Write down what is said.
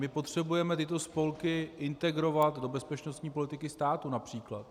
My potřebujeme tyto spolky integrovat do bezpečnostní politiky státu, například.